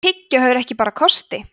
en tyggjó hefur ekki bara kosti